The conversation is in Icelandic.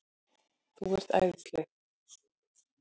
Þú ert æðisleg!